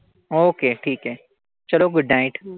Okay ठीकेय. good night